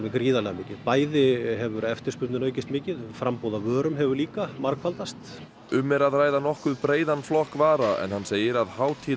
gríðarlega mikið bæði hefur eftirspurnin aukist mikið og framboð af vörum hefur líka margfaldast um er að ræða nokkuð breiðan flokk vara en hann segir að